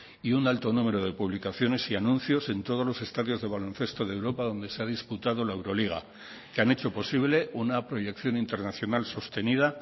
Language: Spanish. y un alto número de publicaciones y anuncios en todos los estadios de baloncesto de europa donde se ha disputado la euroliga que han hecho posible una proyección internacional sostenida